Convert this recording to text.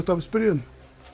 að spyrja um